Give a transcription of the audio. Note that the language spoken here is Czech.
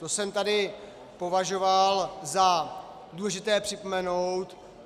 To jsem tady považoval za důležité připomenout.